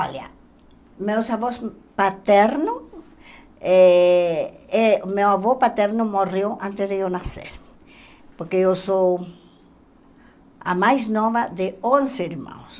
Olha, meus avós paterno, eh eh meu avô paterno morreu antes de eu nascer, porque eu sou a mais nova de onze irmãos.